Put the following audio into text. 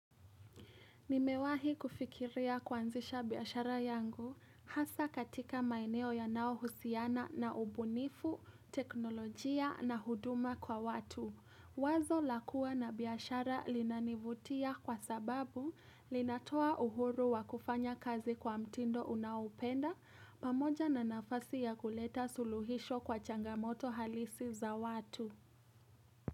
Nimewahi kufikiria kwanzisha biashara yangu hasa katika maeneo yanaohusiana na ubunifu, teknolojia na huduma kwa watu. Wazo la kua na biashara linanivutia kwa sababu linatoa uhuru wa kufanya kazi kwa mtindo unaoupenda pamoja na nafasi ya kuleta suluhisho kwa changamoto halisi za watu.